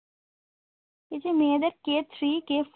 কিছু মেয়েদের কে থ্রি, কে